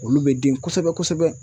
Olu bɛ den kosɛbɛ-kosɛbɛ.